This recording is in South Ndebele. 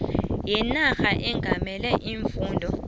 wenarha ongamele iimfunda